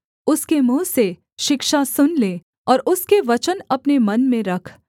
उसके मुँह से शिक्षा सुन ले और उसके वचन अपने मन में रख